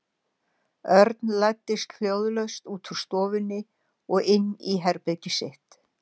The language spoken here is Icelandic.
Örn læddist hljóðlaust út úr stofunni og inn í herbergið sitt.